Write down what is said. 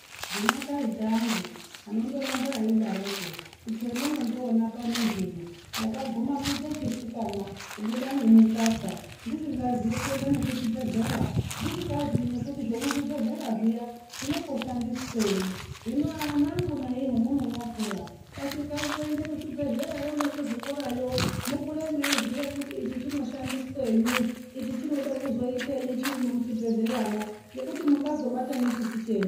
Ndina taita angu anondoramba eidaroko kuti hemunondiona pano zvino ndakaguma kuite chisikana kubuda nemukaka ndisngazii kuenda nekuchibhedhlera ndisingazii nekuti zvemuzvibhedhlera zviya zvinomboshandiswenyi. Hino anangu nayi hemunonyakura kasikai kuende kuzvibhehlera yo nekuzvikora yo mukure mweiziye kuti ichi chinoshandiswenyi ichi chinode kuzoitenyi chirimwo muchibhedhleramwo ngekuti mungazobata nechisi chenyu.